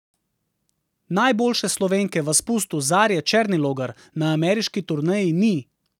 Najboljše Slovenke v spustu Zarje Černilogar na ameriški turneji ni.